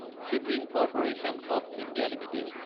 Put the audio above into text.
shipping corporation of India Ltd